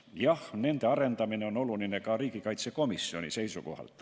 Jah, nende arendamine on oluline ka riigikaitsekomisjoni seisukohalt.